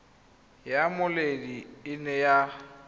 ya mmoledi e ne ya